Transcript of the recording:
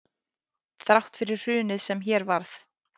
Þrátt fyrir hrunið sem hér varð